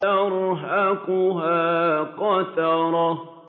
تَرْهَقُهَا قَتَرَةٌ